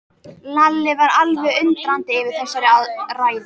Lalli var alveg undrandi yfir þessari ræðu.